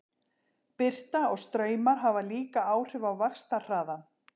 Birta og straumar hafa líka áhrif á vaxtarhraðann.